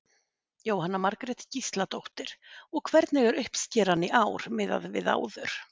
Jóhanna Margrét Gísladóttir: Og hvernig er uppskeran í ár miðað við áður?